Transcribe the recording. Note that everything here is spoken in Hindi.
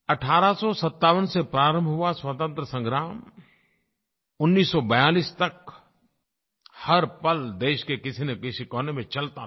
1857 से प्रारंभ हुआ स्वतंत्रता संग्राम 1942 तक हर पल देश के किसीनकिसी कोने में चलता रहा